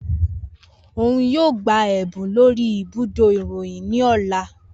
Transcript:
Oun yoo gba ẹbun lori ibudo iroyin ni ọla.